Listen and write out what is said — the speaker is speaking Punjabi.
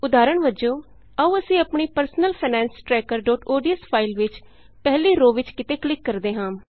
ਉਦਾਹਰਣ ਵਜੋਂ ਆਉ ਅਸੀਂ ਆਪਣੀ personal finance tracker dot ODS file ਵਿਚ ਪਹਿਲੀ ਰੋਅ ਵਿਚ ਕਿਤੇ ਕਲਿਕ ਕਰਦੇ ਹਾਂ